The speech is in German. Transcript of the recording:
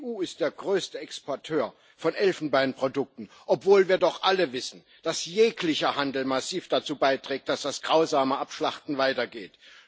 Die EU ist der größte Exporteur von Elfenbeinprodukten, obwohl wir doch alle wissen, dass jeglicher Handel massiv dazu beiträgt, dass das grausame Abschlachten weitergeht.